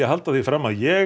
halda því fram að ég